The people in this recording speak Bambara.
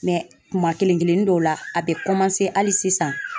kuma kelen kelennin dɔw la a be kɔmanse hali sisan.